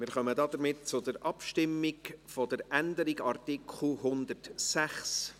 Wir kommen somit zur Abstimmung über die Änderung von Artikel 106.